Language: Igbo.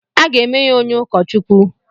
Aga eme ya onye ụkọ Chukwu.